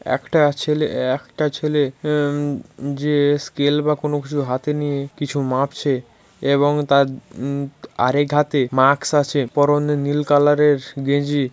একটা ছেলে একটা ছেলে উ-ম যে-এ স্কেল বা কোন কিছু হাতে নিয়ে কিছু মাপছে। এবং তার উ-ম আর এক হাতে মাস্ক আছে পরনের নীল কালারের গেঞ্জি।